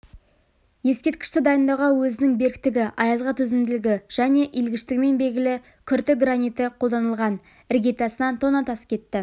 ескерткішті дайындауға өзінің беріктігі аязға төзімділігі және иілгіштігімен белгілі күрті граниті қолданылған іргетасына тонна тас кетті